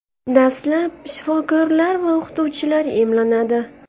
Dastlab shifokorlar va o‘qituvchilar emlanadi.